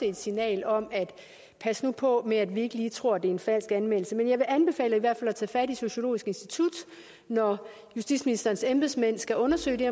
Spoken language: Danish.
et signal om pas nu på med at vi ikke lige tror det en falsk anmeldelse men jeg vil anbefale at man tager fat i sociologisk institut når justitsministerens embedsmænd skal undersøge det